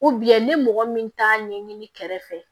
ni mɔgɔ min t'a ɲɛɲini kɛrɛfɛ